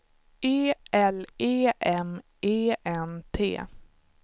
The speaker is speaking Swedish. E L E M E N T